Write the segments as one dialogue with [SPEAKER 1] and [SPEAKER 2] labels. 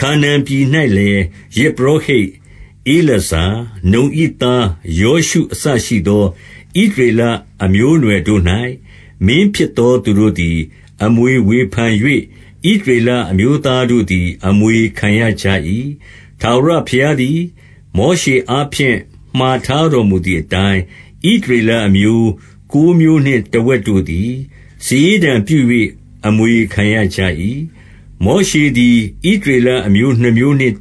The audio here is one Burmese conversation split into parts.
[SPEAKER 1] ခါနာန်ပြည်၌လည်း ယဇ်ပုရောဟိတ် ဧလာဇာ၊ နုန်၏သားယောရှုအစရှိသော ဣသရေလအမျိုးအနွယ် တို့၌ မင်းဖြစ်သောသူတို့သည် အမွေဝေဖန်၍ ဣသရေလ အမျိုးသားတို့သည် အမွေခံရကြ၏။ 2 ထာဝရဘုရားသည် မောရှေအားဖြင့် မှာထား တော်မူသည်အတိုင်း၊ ဣသရေလအမျိုး ကိုးမျိုးနှင့် တဝက် တို့သည် စာရေးတံပြု၍ အမွေခံရကြ၏။ 3 မောရှေသည် ဣသရေလအမျိုးနှစ်မျိုးနှင့်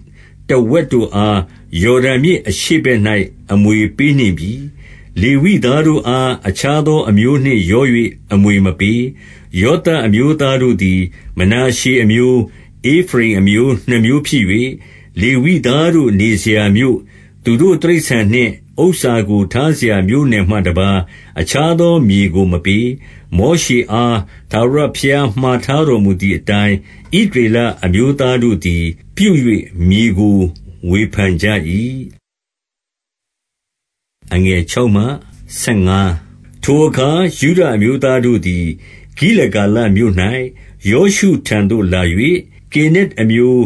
[SPEAKER 1] တဝက်တို့အား၊ ယော်ဒန်မြစ်အရှေ့ဘက်၌ အမွေပေးနှင့် ပြီ။ လေဝိသားတို့အား အခြားသောအမျိုးနှင့်ရော၍ အမွေမပေး။ 4 ယောသပ်အမျိုးသားတို့သည် မနာရှေအမျိုး၊ ဧဖရိမ်အမျိုးနှစ်မျိုးဖြစ်၍၊ လေဝိသားတို့နေစရာမြို့၊ သူတို့ တိရစ္ဆာန်နှင့် ဥစ္စာကို ထားစရာမြို့နယ်မှတပါး အခြား သောမြေကို မပေး။ 5 မောရှေအား ထာဝရဘုရားမှာထားတော်မူ သည်အတိုင်း၊ ဣသရေလအမျိုးသားတို့သည် ပြု၍ မြေကို ဝေဖန်ကြ၏။ 6 ထိုအခါ ယုဒအမျိုးသားတို့သည်၊ ဂိလဂါလမြို့၌ ယောရှုထံသို့လာ၍၊ ကေနက်အမျိုး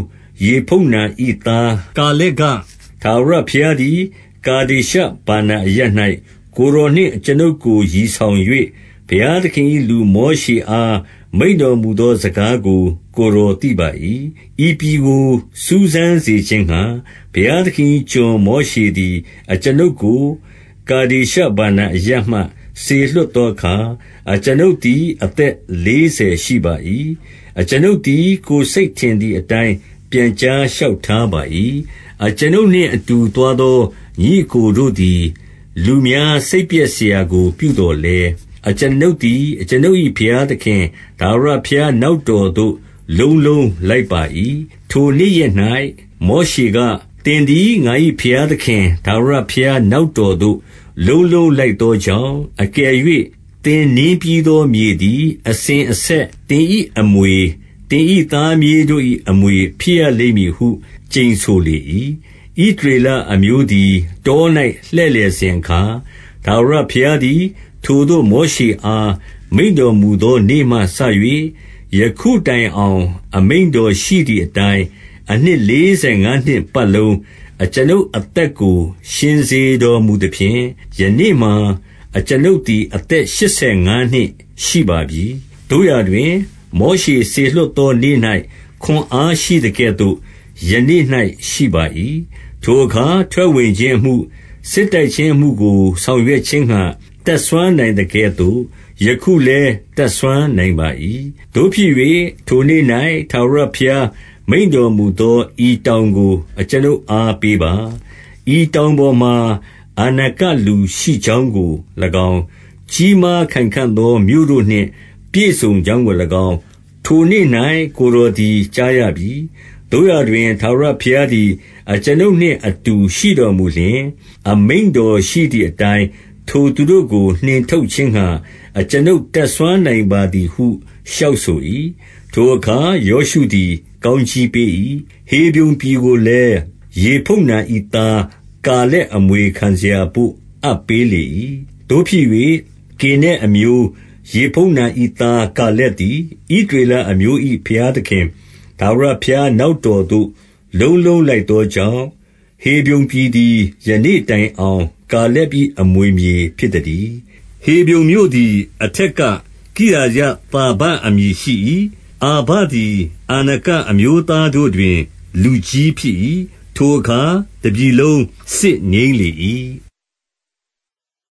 [SPEAKER 1] ယေဖုန္နာ၏သား ကာလက်က၊ ထာဝရဘုရားသည် ကာဒေရှဗာနာအရပ်၌ ကိုယ်တော်နှင့် အကျွန်ုပ်ကို ရည်ဆောင်၍၊ ဘုရားသခင် ၏လူမောရှေအား မိန့်တော်မူသောစကားကို ကိုယ်တော် သိပါ၏။ 7 ဤပြည်ကို စူးစမ်းစေခြင်းငှါ ဘုရားသခင်၏ ကျွန် မောရှေသည် အကျွန်ုပ်ကို ကာဒေရှဗာနာအရပ်မှ စေလွှတ်သောအခါ၊ အကျွန်ုပ်သည် အသက်လေးဆယ် ရှိပါ၏။ အကျွန်ုပ်သည် ကိုယ်စိတ်ထင်သည်အတိုင်း ပြန်ကြားလျှောက်ထားပါ၏။ 8 အကျွန်ုပ်နှင့်အတူသွားသော ညီအစ်ကိုတို့သည်၊ လူများစိတ်ပျက်စရာကို ပြုသော်လည်း၊ အကျွန်ုပ်သည် အကျွန်ုပ်၏ ဘုရားသခင် ထာဝရဘုရားနောက်တော်သို့ လုံးလုံးလိုက်ပါ၏။ 9 ထိုနေ့ရက်၌ မောရှေက၊ သင်သည် ငါ၏ဘုရား သခင် ထာဝရဘုရားနောက်တော်သို့ လုံးလုံးလိုက်သော ကြောင့်၊ အကယ်၍ သင်နင်းပြီးသောမြေသည် အစဉ်အ ဆက် သင်၏အမွေ၊ သင်၏ သားမြေးတို့၏အမွေ ဖြစ်ရ လိမ့်မည်ဟု ကျိန်ဆိုလေ၏။ 10 ဣသရေလအမျိုးသည် တော၌ လှည့်လည်စဉ် အခါ၊ ထာဝရဘုရားသည် ထိုသို့ မောရှေအား မိန့်တော်မူ သောနေ့မှစ၍ ယခုတိုင်အောင် အမိန့်တော်ရှိသည်အ တိုင်း၊ အနှစ်လေးဆယ်ငါးနှစ်ပတ်လုံး အကျွန်ုပ် အသက်ကို ရှင်စေတော်မူသဖြင့်၊ ယနေ့မှာ အကျွန်ုပ်သည် အသက်ရှစ်ဆယ်ငါးနှစ်ရှိပါပြီ။ 11 သို့ရာတွင် မောရှေစေလွှတ်သောနေ့၌ ခွန်အား ရှိသကဲ့သို့ ယနေ့၌ ရှိပါ၏။ ထိုအခါ ထွက်ဝင်ခြင်းအမှု၊ စစ်တိုက်ခြင်းအမှုကို ဆောင်ရွက်ခြင်းငှါ တတ်စွမ်းနိုင် သကဲ့သို့ ယခုလည်း တတ်စွမ်းနိုင်ပါ၏။ 12 သို့ဖြစ်၍ ထိုနေ့၌ ထာဝရဘုရားမိန့်တော်မူ သော ဤတောင်ကို အကျွန်ုပ်အား ပေးပါ။ ဤတောင် ပေါ်မှာ အာနကလူရှိကြောင်းကို၎င်း၊ ကြီးမားခိုင်ခံ့သော မြို့တို့နှင့် ပြည့်စုံကြောင်းကို၎င်း၊ ထိုနေ့၌ ကိုယ်တော်သည် ကြားရပြီ။ သို့ရာတွင် ထာဝရဘုရားသည် အကျွန်ုပ်နှင့် အတူရှိတော်မူလျှင်၊ အမိန့်တော်ရှိသည်အတိုင်း ထိုသူတို့ ကို နှင်ထုတ်ခြင်းငှါ အကျွန်ုပ်တတ်စွမ်းနိုင်ပါသည်ဟု လျှောက်ဆို၏။ 13 ထိုအခါ ယောရှုသည် ကောင်းကြီးပေး၏။ ဟေဗြုန်ပြည်ကိုလည်း၊ ယေဖုန္နာ၏သား ကာလက်အမွေခံ စရာဘို့ အပ်ပေးလေ၏။ 14 သို့ဖြစ်၍ ကေနက်အမျိုး ယေဖုန္နာ၏သား ကာ လက်သည်၊ ဣသရေလအမျိုး၏ ဘုရားသခင် ထာဝရ ဘုရားနောက်တော်သို့ လုံးလုံးလိုက်သောကြောင့်၊ ဟေဗြုန် ပြည်သည် ယနေ့တိုင်အောင် ကာလက်၏အမွေမြေဖြစ် သတည်း။ 15 ဟေဗြုန်မြို့သည် အထက်ကကိရသာဘအမည် ရှိ၏။ အာဗသည် အာနကအမျိုးသားတို့တွင် လူကြီးဖြစ် ၏။ ထိုအခါ တပြည်လုံးစစ်ငြိမ်းလေ၏။